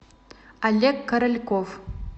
олег корольков